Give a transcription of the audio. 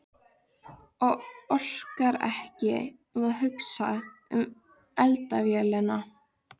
Og orkar ekki að hugsa um eldavélina.